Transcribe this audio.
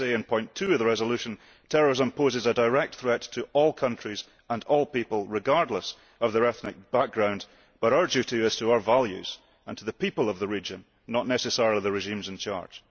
As we say in point 2 of the resolution, terrorism poses a direct threat to all countries and all people, regardless of their ethnic background, but our duty is to our values and to the people of the region, not necessarily the regimes in charge.